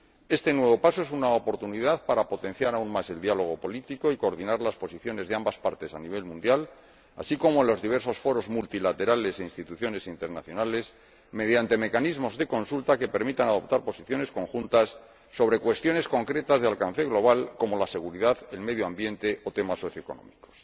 Este nuevo paso es una oportunidad para potenciar aún más el diálogo político y coordinar las posiciones de ambas partes a nivel mundial, así como los diversos foros multilaterales e instituciones internacionales, mediante mecanismos de consulta que permitan adoptar posiciones conjuntas sobre cuestiones concretas de alcance global como la seguridad, el medio ambiente o temas socioeconómicos.